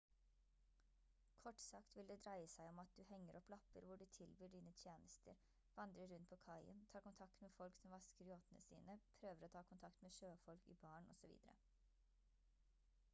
kort sagt vil det dreie seg om at du henger opp lapper hvor du tilbyr dine tjenester vandrer rundt på kaien tar kontakt med folk som vasker yachtene sine prøver å ta kontakt med sjøfolk i baren osv